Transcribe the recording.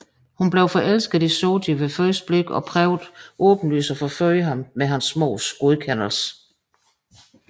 Hun blev forelsket i Soji ved første blik og prøver åbenlyst at forføre ham med hans mors godkendelse